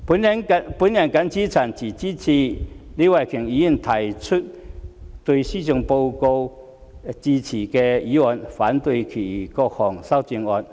我謹此陳辭，支持李慧琼議員提出對施政報告致謝的議案，反對其他各項修正案。